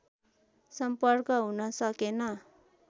सम्पर्क हुनसकेन